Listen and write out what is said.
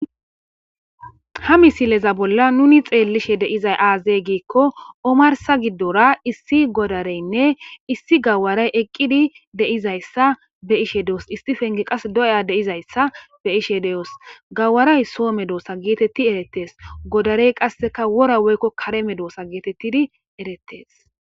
ha misileza bolla nuni xeellishe deizay aazey giikko omarsa giddora issi godareynne issi gawaray eqqidi deizayssa be ishe deos istifenge qas doya deizayssa be ishe de7os gawaray soo me doosa geetetti erettes godarey qasseka wora weykko kareme doosa geetettidi erettes